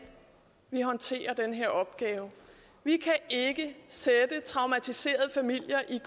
vi håndterer den her opgave vi kan ikke sætte traumatiserede familier ind